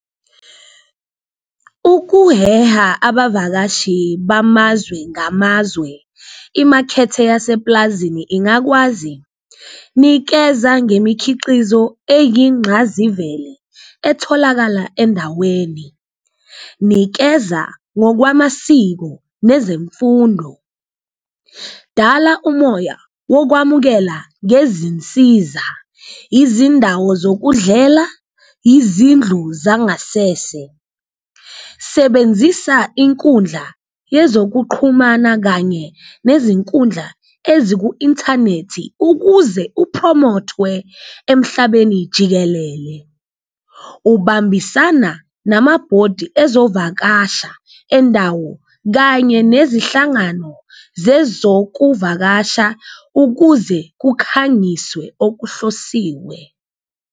Ukuheha abavakashi bamazwe ngamazwe imakhethe yasepulazini ingakwazi nikeza ngemikhiqizo eyingqazivele etholakala endaweni, nikeza ngokwamasiko nezemfundo, dala umoya wokwamukela ngezinsiza izindawo zokudlela, izindlu zangasese. Sebenzisa inkundla yezokuqhumana kanye nezinkundla eziku-inthanethi ukuze upromothwe emhlabeni jikelele, ubambisana namabhodi ezovakasha endawo kanye nezihlangano zezokuvakasha ukuze kukhangiswe okuhlosiwe.